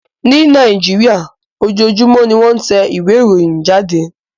Ní Nàìjíríà, ojoojúmọ́ ni wọ́n ń tẹ ìwé ìròyìn jáde